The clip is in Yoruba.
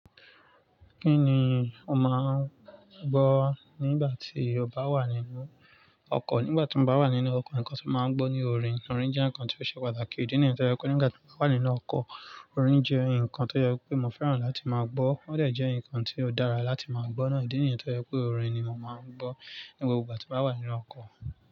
Kí ni o máà ń gbọ́ nígbà tí o bá wà nínú ọkọ̀? Nígbà tí mo bá wà nínú ọkọ̀, nǹkan tí mo máa ń gbọ́ ni orin. Orin jẹ́ nǹkan tí ó ṣe pàtàkì. Ídí nìyẹn tó jẹ́ pé nígbà tí mo bá wà nínú ọkọ̀, orin jẹ́ nǹkan tí ó ye pé mo fẹ́ràn láti máa gbọ́. Ó dà jẹ́ nǹkan tí ó dára láti máa gbọ́ náà. Ídí nìyẹn tó jẹ́ pé orin ni mo máa ń gbọ́ ní gbogbo igba tí mo bá wà nínú ọkọ̀.